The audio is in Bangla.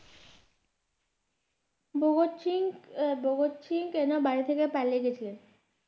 ভগৎ সিং এ ভগৎ সিং কেন বাড়ি থেকে পালিয়ে গেছিলেন?